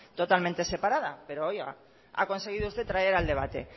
totalmente separada pero oiga ha conseguido usted traer al debate